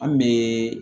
An bɛ